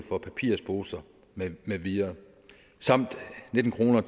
for papirsposer med med videre samt nitten kroner